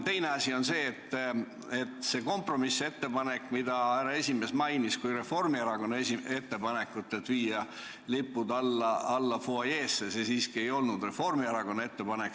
Teiseks, see kompromissettepanek, mida härra esimees mainis kui Reformierakonna ettepanekut, et viia lipud alla fuajeesse – see siiski ei olnud Reformierakonna ettepanek.